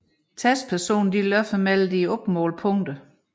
Testpersonerne løber mellem de opmålte punkter